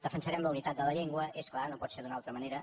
defensarem la unitat de la llengua és clar no pot ser d’una altra manera